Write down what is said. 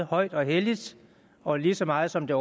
højt og helligt og lige så meget som det